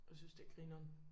Og synes det grineren